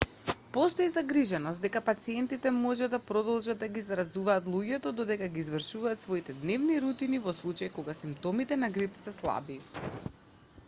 постои загриженост дека пациентите може да продолжат да ги заразуваат луѓето додека ги извршуваат своите дневни рутини во случај кога симптомите на грип се слаби